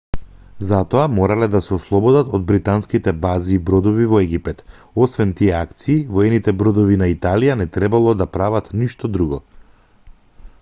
за тоа морале да се ослободат од британските бази и бродови во египет освен тие акции воените бродови на италија не требало да прават ништо друго